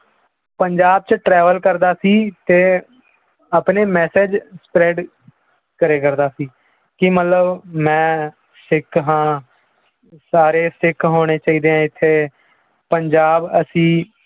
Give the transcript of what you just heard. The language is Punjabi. ਪੰਜਾਬ 'ਚ travel ਕਰਦਾ ਸੀ ਤੇ ਆਪਣੇ message spread ਕਰਿਆ ਕਰਦਾ ਸੀ, ਕਿ ਮਤਲਬ ਮੈਂ ਸਿੱਖ ਹਾਂ ਸਾਰੇ ਸਿੱਖ ਹੋਣੇ ਚਾਹੀਦੇ ਆ ਇੱਥੇ ਪੰਜਾਬ ਅਸੀਂ